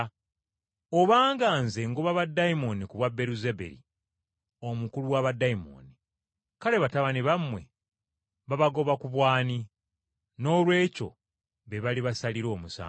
Obanga Nze ngoba baddayimooni ku bwa Beeruzebuli omukulu wa baddayimooni, kale batabani bammwe babagoba ku bw’ani? Noolwekyo be bali basalira omusango.